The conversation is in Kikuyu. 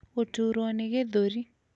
gũtuurwo nĩ gĩthũri,